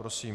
Prosím.